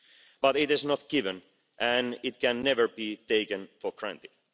But it is not a given and it can never be taken for granted.